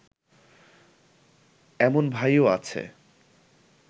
এমন ভাইও আছে